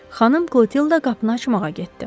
Xanım Krotilda qapını açmağa getdi.